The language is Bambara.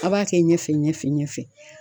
A b'a kɛ ɲɛfɛ ɲɛfɛ ɲɛfɛ.